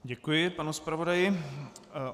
Děkuji panu zpravodaji.